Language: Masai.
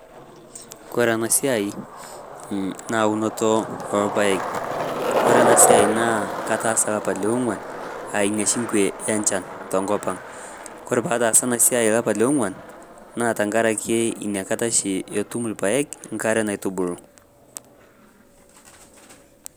Kore anaa siai naa unotoo ee lpaek, kore ana siai naa kataasa lapa le oong'uan aa inia shi nkwe e nchan tonkopang'. Kore pataasa ale siai lapa le ong'uan naa tankarake inia kata shi etum lpaek nkare naitubulu.